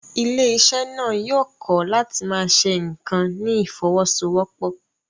Ilé-iṣẹ́ náà yóò kọ́ láti máa ṣe nǹkan ní ìfọwọ́sowọ́pọ̀.